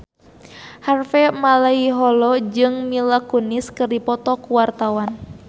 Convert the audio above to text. Harvey Malaiholo jeung Mila Kunis keur dipoto ku wartawan